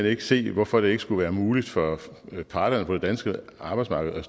ikke se hvorfor det ikke skulle være muligt for parterne på det danske arbejdsmarked